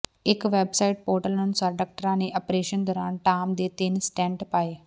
ਇਕ website portal ਅਨੁਸਾਰ ਡਾਕਟਰਾਂ ਨੇ ਆਪਰੇਸ਼ਨ ਦੌਰਾਨ ਟਾਮ ਦੇ ਤਿੰਨ ਸਟੈਂਟ ਪਾਏ